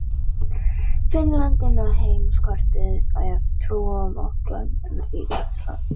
Finnland inn á heimskortið ef trúa mátti gömlum íþróttablöðum.